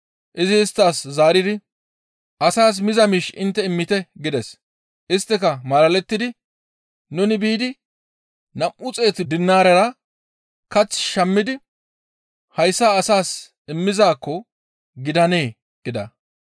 Izi isttas zaaridi, «Asaas miza miish intte immite» gides. Isttika malalettidi, «Nuni biidi nam7u xeetu dinaarera kath shammidi hayssa asaas immizaakko gidandee?» gida.